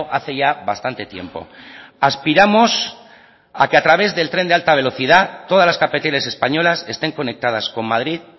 hace ya bastante tiempo aspiramos a que a través del tren de alta velocidad todas las capitales españolas estén conectadas con madrid